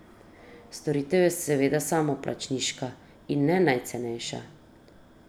Storitev je seveda samoplačniška in ne najcenejša.